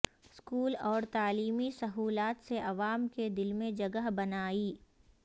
school اور تعلیمی سہولات سے عوام کے دل میں جگہ بنائی